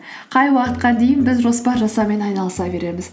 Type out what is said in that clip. қай уақытқа дейін біз жоспар жасаумен айналыса береміз